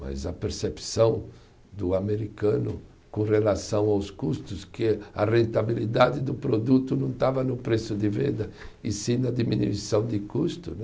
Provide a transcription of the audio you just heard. Mas a percepção do americano com relação aos custos, que a rentabilidade do produto não estava no preço de venda, e sim na diminuição de custo, né?